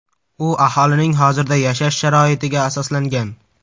U aholining hozirda yashash sharoitiga asoslangan.